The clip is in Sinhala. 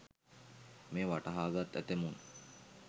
මෙය වටහා ගත් ඇතැමුන්